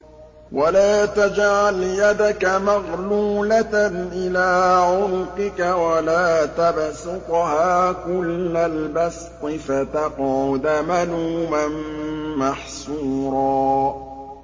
وَلَا تَجْعَلْ يَدَكَ مَغْلُولَةً إِلَىٰ عُنُقِكَ وَلَا تَبْسُطْهَا كُلَّ الْبَسْطِ فَتَقْعُدَ مَلُومًا مَّحْسُورًا